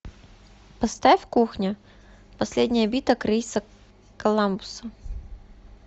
поставь кухня последняя битва криса коламбуса